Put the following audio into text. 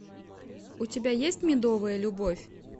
у тебя есть медовая любовь